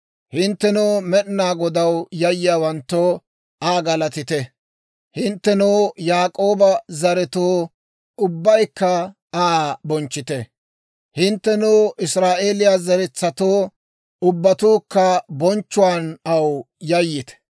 Hinttenoo, Med'inaa Godaw yayyiyaawanttoo, Aa galatite. Hinttenoo, Yaak'ooba zeretsatoo, ubbaykka Aa bonchchite. Hinttenoo, Israa'eeliyaa zeretsatoo, ubbatuukka bonchchuwaan aw yayyite.